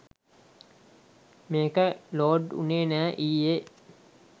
මේක ලෝඩ් උනේ නෑ ඊයෙ